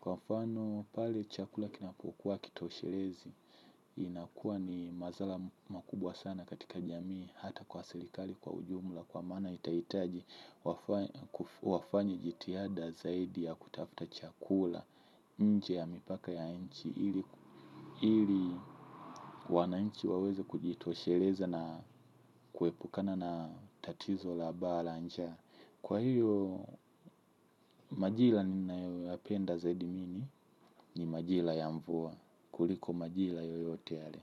Kwa mfano pale chakula kinapokuwa kitoshelezi. Inakuwa ni madhara makubwa sana katika jamii hata kwa serikali kwa ujumula kwa maana itahitaji wafanye jitiada zaidi ya kutafuta chakula. Nje ya mipaka ya nchi ili wananchi waweze kujitosheleza na kuepukana na tatizo la baa la njaa. Kwa hiyo majira ninayoyapenda zaidi mini. Ni majira ya mvua kuliko majira yoyote yale.